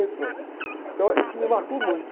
Então, isso me marcou muito.